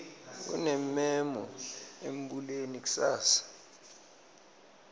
kunemmemo embuleni kusasa